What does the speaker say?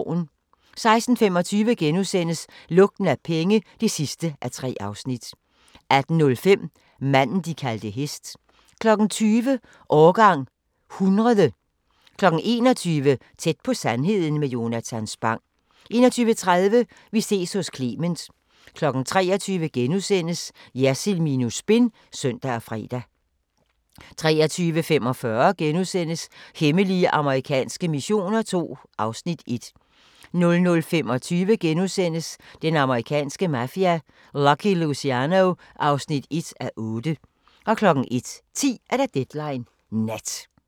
16:25: Lugten af penge (3:3)* 18:05: Manden, de kaldte hest 20:00: Årgang 100 21:00: Tæt på sandheden med Jonatan Spang 21:30: Vi ses hos Clement 23:00: Jersild minus spin *(søn og fre) 23:45: Hemmelige amerikanske missioner II (Afs. 1)* 00:25: Den amerikanske mafia: Lucky Luciano (1:8)* 01:10: Deadline Nat